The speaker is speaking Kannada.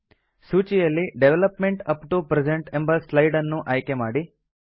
ಸೂಚಿಯಲ್ಲಿ ಡೆವಲಪ್ಮೆಂಟ್ ಅಪ್ ಟಿಒ ಪ್ರೆಸೆಂಟ್ ಎಂಬ ಸ್ಲೈಡ್ ಅನ್ನು ಆಯ್ಕೆ ಮಾಡಿ